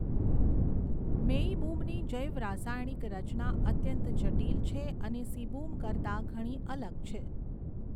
મેઇબુમની જૈવરાસાયણિક રચના અત્યંત જટિલ છે અને સીબુમ કરતાં ઘણી અલગ છે.